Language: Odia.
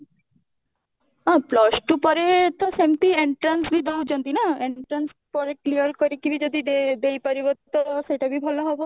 ହଁ plus two ପରେ ତ ସେମିତି entrance ବି ଦଉଛନ୍ତି ନା entrance ପରେ clear କରିକି ବି ଯଦି ଦେଇ ଦେଇ ପାରିବ ତ ସେଇଟା ବି ଭଲ ହବ